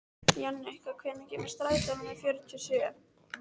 Jannika, hvenær kemur strætó númer fjörutíu og sjö?